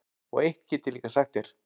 Og eitt get ég líka sagt þér,